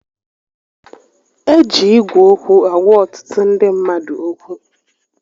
E ji Ígwè okwu agwa ọtụtụ ndị mmadụ okwu